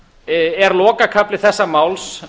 er lokakafli þessa máls